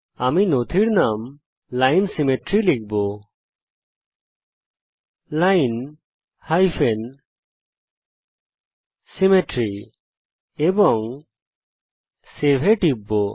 আমি নথির নাম line সিমেট্রি লিখব এবং Save এ টিপব